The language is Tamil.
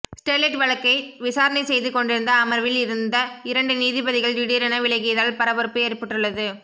ஸ்டெர்லைட் வழக்கை விசாரணை செய்து கொண்டிருந்த அமர்வில் இருந்த இரண்டு நீதிபதிகள் திடீரென விலகியதால் பரபரப்பு ஏற்பட்டுள்ளது